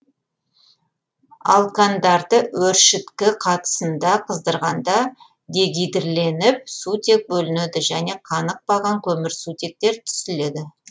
алкандарды өршіткі қатысында қыздырғанда дегидрленіп сутек бөлінеді және канықпаған көмірсутектер түзіледі